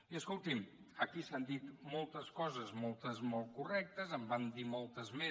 i escolti’m aquí s’han dit moltes coses moltes molt correctes en van dir moltes més